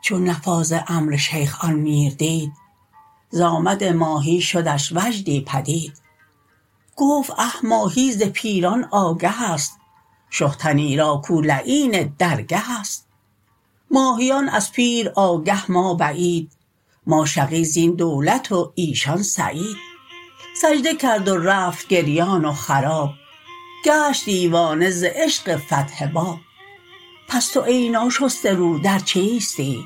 چون نفاذ امر شیخ آن میر دید ز آمد ماهی شدش وجدی پدید گفت اه ماهی ز پیران آگهست شه تنی را کو لعین درگهست ماهیان از پیر آگه ما بعید ما شقی زین دولت و ایشان سعید سجده کرد و رفت گریان و خراب گشت دیوانه ز عشق فتح باب پس تو ای ناشسته رو در چیستی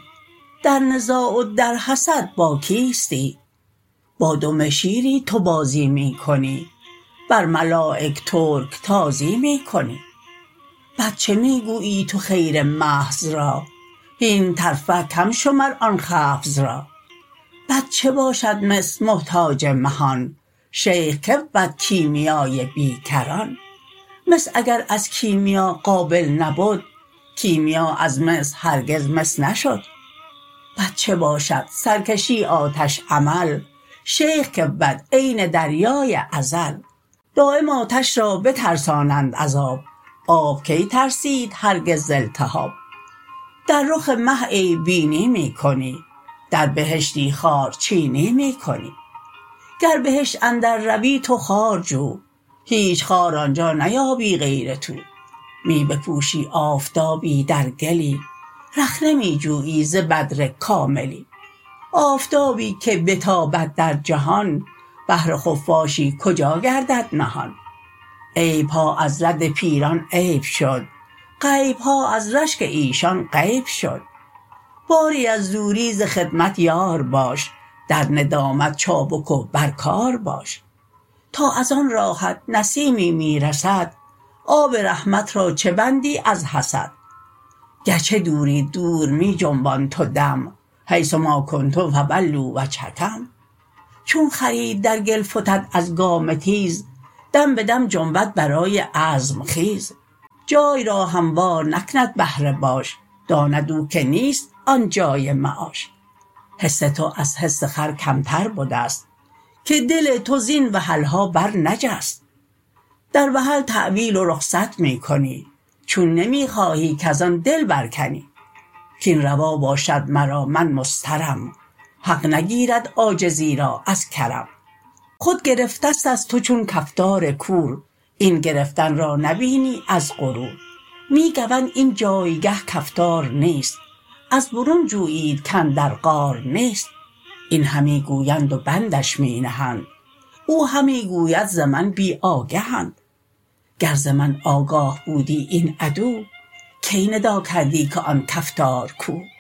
در نزاع و در حسد با کیستی با دم شیری تو بازی می کنی بر ملایک ترک تازی می کنی بد چه می گویی تو خیر محض را هین ترفع کم شمر آن خفض را بد چه باشد مس محتاج مهان شیخ کی بود کیمیای بی کران مس اگر از کیمیا قابل نبد کیمیا از مس هرگز مس نشد بد چه باشد سرکشی آتش عمل شیخ کی بود عین دریای ازل دایم آتش را بترسانند از آب آب کی ترسید هرگز ز التهاب در رخ مه عیب بینی می کنی در بهشتی خارچینی می کنی گر بهشت اندر روی تو خارجو هیچ خار آنجا نیابی غیر تو می بپوشی آفتابی در گلی رخنه می جویی ز بدر کاملی آفتابی که بتابد در جهان بهر خفاشی کجا گردد نهان عیبها از رد پیران عیب شد غیبها از رشک ایشان غیب شد باری ار دوری ز خدمت یار باش در ندامت چابک و بر کار باش تا از آن راهت نسیمی می رسد آب رحمت را چه بندی از حسد گرچه دوری دور می جنبان تو دم حیث ما کنتم فولوا وجهکم چون خری در گل فتد از گام تیز دم بدم جنبد برای عزم خیز جای را هموار نکند بهر باش داند او که نیست آن جای معاش حس تو از حس خر کمتر بدست که دل تو زین وحلها بر نجست در وحل تاویل و رخصت می کنی چون نمی خواهی کز آن دل بر کنی کین روا باشد مرا من مضطرم حق نگیرد عاجزی را از کرم خود گرفتستت تو چون کفتار کور این گرفتن را نبینی از غرور می گوند اینجایگه کفتار نیست از برون جویید کاندر غار نیست این همی گویند و بندش می نهند او همی گوید ز من بی آگهند گر ز من آگاه بودی این عدو کی ندا کردی که آن کفتار کو